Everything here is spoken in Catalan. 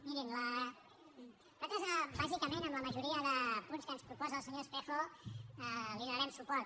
mirin nosaltres bàsicament en la majoria de punts que ens proposa el senyor espejo li donarem suport